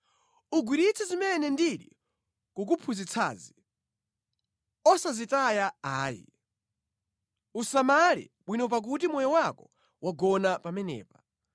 Ugwiritse zimene ndikukuphunzitsazi osazitaya ayi. Uwasamale bwino pakuti moyo wako wagona pamenepa.